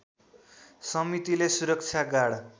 समितिले सुरक्षा गार्ड